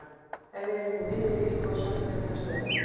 Ef við erum í miðri viku og sagt er um næstu helgi.